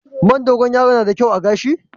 Man Dogon yaro yana da kyau a gashi?